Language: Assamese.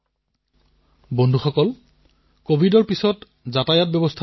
আপোনালোকে নিজেও অংশগ্ৰহণ কৰক আৰু আনকো অনুপ্ৰেৰিত কৰক